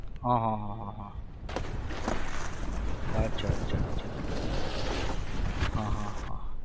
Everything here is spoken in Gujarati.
હા હા હા હા હા અચ્છા અચ્છા અચ્છા હા હા હા